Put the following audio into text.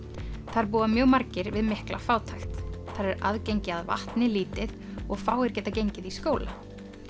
þar búa mjög margir við mikla fátækt þar er aðgengi að vatni lítið og fáir geta gengið í skóla